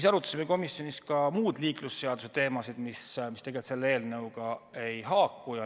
Me arutasime komisjonis ka muid liiklusseaduse teemasid, mis selle eelnõuga ei haaku.